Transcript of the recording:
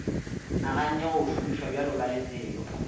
naganne go o šomišabjalo kalefelo